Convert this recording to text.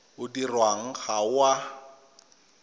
o dirwang ga o a